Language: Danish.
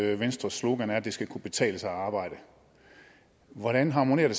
at venstres slogan er at det skal kunne betale sig at arbejde hvordan harmonerer